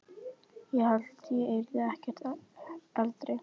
Ég hélt ég yrði ekki eldri!